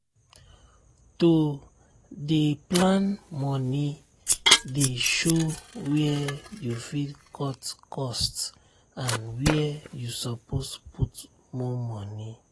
to dey plan moni dey show where you fit cut cost and where you suppose put more money.